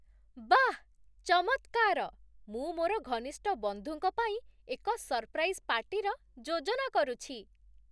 ବାଃ, ଚମତ୍କାର! ମୁଁ ମୋର ଘନିଷ୍ଠ ବନ୍ଧୁଙ୍କ ପାଇଁ ଏକ ସରପ୍ରାଇଜ୍ ପାର୍ଟିର ଯୋଜନା କରୁଛି।